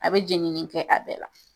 A bɛ jɛɲini kɛ a bɛɛ la.